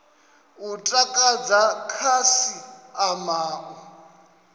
u takadza khasi ama u